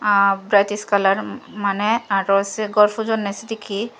varities colour mane aro se ghor pujonne sedekkin.